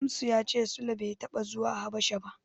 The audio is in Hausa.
Shamsu ya cewa Sule bai taɓa zuwa Habasha ba.